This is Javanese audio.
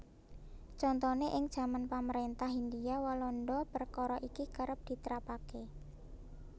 Contoné ing jaman pamaréntah Hindia Walanda perkara iki kerep ditrapaké